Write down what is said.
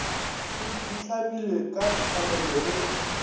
di hlamilwe ka tshwanelo le